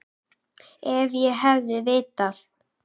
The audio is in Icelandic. Ef ég hefði vitað.